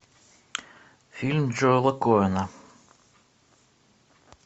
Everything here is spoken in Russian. фильм джоэла коэна